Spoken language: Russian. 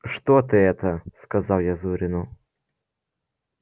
что ты это сказал я зурину